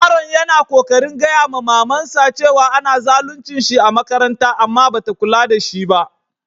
Yaron ya na kokarin gaya ma mama'n sa cewa ana zaluncin shi a'makaranta amma ba ta kulla da shi ba.